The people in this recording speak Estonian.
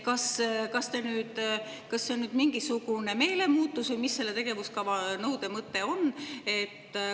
Kas see on nüüd mingisugune meelemuutus või mis selle tegevuskava nõude mõte on?